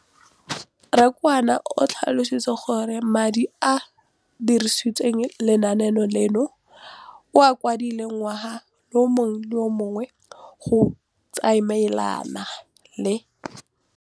Rakwena o tlhalositse gore madi a a dirisediwang lenaane leno a okediwa ngwaga yo mongwe le yo mongwe go tsamaelana le